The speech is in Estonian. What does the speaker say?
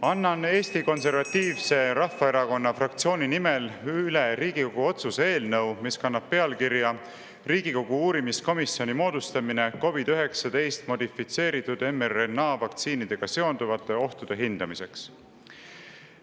Annan Eesti Konservatiivse Rahvaerakonna fraktsiooni nimel üle eelnõu, mis kannab pealkirja "Riigikogu uurimiskomisjoni moodustamine COVID-19 modifitseeritud mRNA vaktsiinidega seonduvate ohtude hindamiseks".